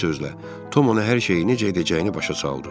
Bir sözlə, Tom ona hər şeyi necə edəcəyini başa saldı.